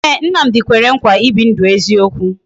Ee, Nnamdi kwere nkwa ibi ndụ eziokwu